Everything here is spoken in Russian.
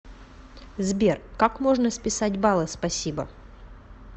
сбер как можно списать баллы спасибо